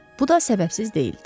Bu da səbəbsiz deyildi.